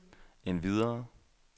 endvidere